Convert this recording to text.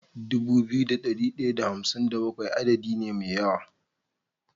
Dubu biyu da dari daya da hamsin da bakwai adadi ne me yawa